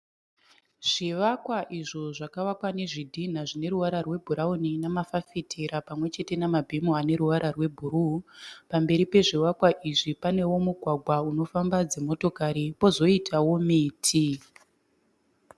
Zvivakwa izvo zvakavakwa nezvidhina zvine ruvara rwebhurauni nemafafitera pamwe chete namabhimu aneruvara rwebhuruu. Pamberi pwezvivakwa izvi panewo mugwagwa unofamba dzimotokari pozoitawo miti.